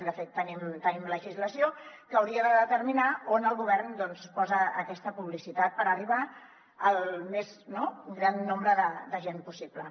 de fet tenim legislació que hauria de determinar on el govern posa aquesta publicitat per arribar al més gran nombre de gent possible